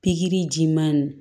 Pikiri jiman